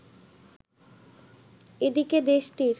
এদিকে দেশটির